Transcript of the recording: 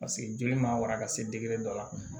Paseke joli ma wara ka se dɔ la